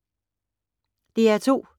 DR2